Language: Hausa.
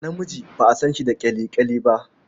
Namiji ba a san shi da ƙyale-ƙyale ba.